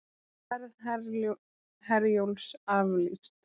Ferð Herjólfs aflýst